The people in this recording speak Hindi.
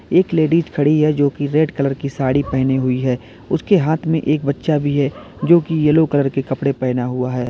एक लेडिस खड़ी है जो की रेड कलर की साड़ी पहनी हुई है उसके हाथ में एक बच्चा भी है जो की येलो कलर के कपड़े पहना हुआ है।